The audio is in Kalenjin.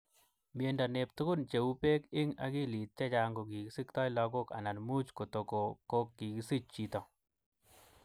Miondo nep tukun che u pek ing akilit chechang ko kisiktoi lagok anan much kotok ko kakisich chito.